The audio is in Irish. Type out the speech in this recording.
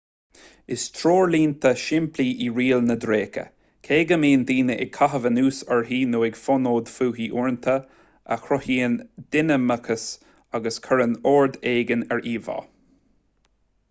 is treoirlíne shimplí í riail na dtréacha cé go mbíonn daoine ag caitheamh anuas uirthi nó ag fonóid fúithi uaireanta a chruthaíonn dinimiceas agus a chuireann ord éigin ar íomhá